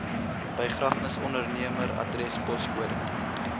begrafnisondernemer adres poskode